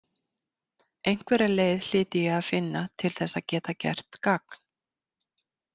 Einhverja leið hlyti ég að finna til þess að geta gert gagn.